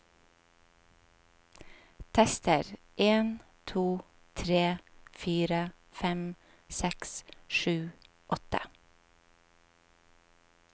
Tester en to tre fire fem seks sju åtte